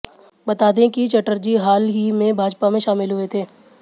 बता दें कि चटर्जी हाल ही में भाजपा में शामिल हुए थे